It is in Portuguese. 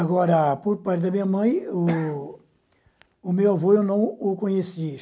Agora, por parte da minha mãe, o meu avô eu não o conheci.